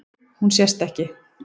Hún sest ekki.